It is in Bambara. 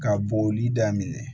Ka boli daminɛ